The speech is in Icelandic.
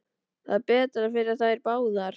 Það er betra fyrir þær báðar.